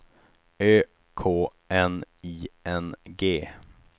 Ö K N I N G